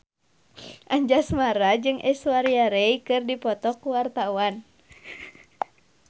Anjasmara jeung Aishwarya Rai keur dipoto ku wartawan